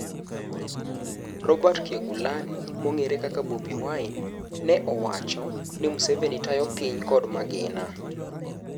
Robert Kyagulani mong'ere kaka Bobbi Wine ne owacho ni Museveni tayo piny kod "magina"